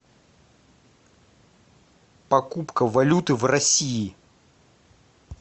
покупка валюты в россии